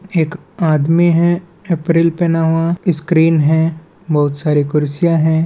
एक आदमी है एप्रोन पहना हुआ स्क्रीन है बहोत सारी कुर्सियाँ है।